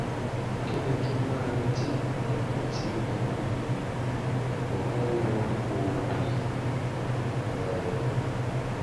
kí ni kí n máa retí nígbà tí um mo bá ń lo oògùn yìí? um